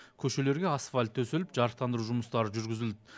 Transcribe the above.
көшелерге асфальт төселіп жарықтандыру жұмыстары жүргізілді